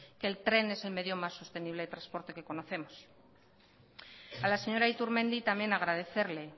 que el tren es el medio más sostenible de transporte que conocemos a la señora iturmendi también agradecerle